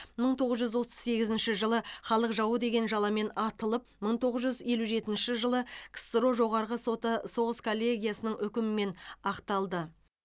мың тоғыз жүз отыз сегізінші жылы халық жауы деген жаламен атылып мың тоғыз жүз елу жетінші жылы ксро жоғарғы соты соғыс коллегиясының үкімімен ақталды